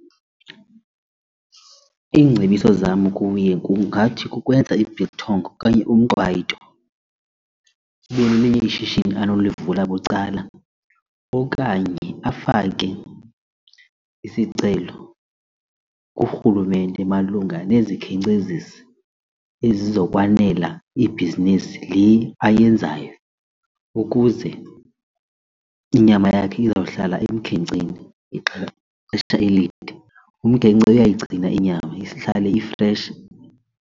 Iingcebiso zam kuye kungathi kukwenza i-biltong okanye umqwayito ibe lelinye ishishini anolivula bucala okanye afake isicelo kurhulumente malunga nezikhenkcezisi ezizokwanela ibhizinisi le ayenzayo ukuze inyama yakho izawuhlala emkhenkceni ixesha elide. Umkhenkce uyayigcina inyama ihlale ifreshi.